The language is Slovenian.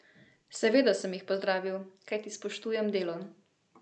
Seveda sem jih pozdravil, kajti spoštujem delo.